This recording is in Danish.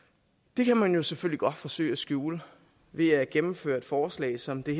det kan man jo selvfølgelig godt forsøge at skjule ved at gennemføre et forslag som det